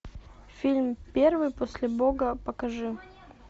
фильм первый после бога покажи